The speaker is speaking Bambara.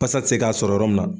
Basa tɛ se k'a sɔrɔ yɔrɔ min na.